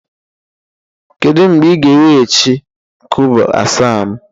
Kedu mgbe ị ga-eweghachi kobo asaa m?